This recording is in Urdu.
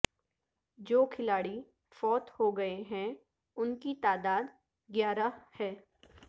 جو کھلاڑی فوت ہو گئے ہیں ان کی تعداد گیارہ ہے